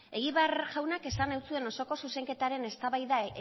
egibar jaunak esan egin zuen osoko zuzenketaren eztabaida